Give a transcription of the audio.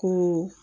Ko